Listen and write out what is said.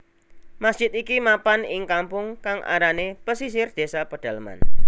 Masjid iki mapan ing kampung kang arané Pesisir désa Pedaleman